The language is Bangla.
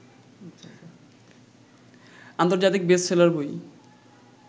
আন্তর্জাতিক বেস্টসেলার বই